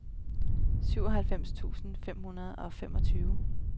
syvoghalvfems tusind fem hundrede og femogtyve